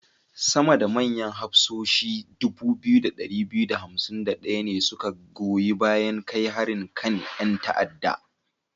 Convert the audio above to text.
Sama da manyan hafsoshi 2251 ne su ka goyi bayan kai harin kan 'yan ta'adda.